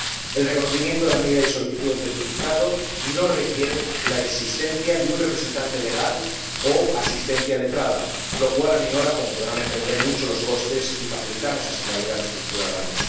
El reconocimiento de la medida y la solicitud del certificado no requieren la existencia de un representante legal o asistencia letrada, lo cual aminora ―como podrán entender― mucho los costes y facilita así la vida a nuestros ciudadanos.